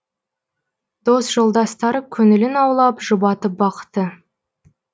дос жолдастары көңілін аулап жұбатып бақты